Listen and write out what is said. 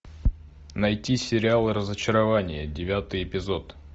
найти сериал разочарование девятый эпизод